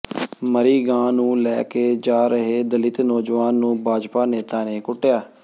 ਮਰੀ ਗਾਂ ਨੂੰ ਲੈ ਕੇ ਜਾ ਰਹੇ ਦਲਿਤ ਨੌਜਵਾਨ ਨੂੰ ਭਾਜਪਾ ਨੇਤਾ ਨੇ ਕੁੱਟਿਆ